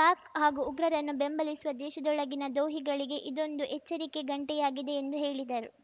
ಪಾಕ್‌ ಹಾಗೂ ಉಗ್ರರನ್ನು ಬೆಂಬಲಿಸುವ ದೇಶದೊಳಗಿನ ದ್ರೋಹಿಗಳಿಗೆ ಇದೊಂದು ಎಚ್ಚರಿಕೆ ಗಂಟೆಯಾಗಿದೆ ಎಂದು ಹೇಳಿದರು